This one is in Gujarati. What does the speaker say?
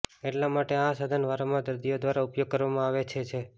એટલા માટે આ સાધન વારંવાર દર્દીઓ દ્વારા ઉપયોગ કરવામાં આવે છે છે